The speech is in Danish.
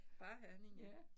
Bare Herning ja